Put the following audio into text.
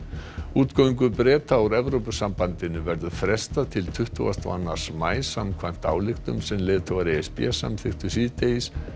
útgöngu Breta úr Evrópusambandinu verður frestað til tuttugasta og annars maí samkvæmt ályktun sem leiðtogar e s b samþykktu síðdegis